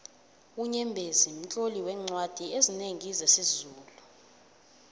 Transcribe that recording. unyembezi mtloli weencwadi ezinengi zesizulu